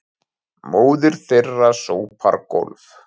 Móðir þeirra sópar gólf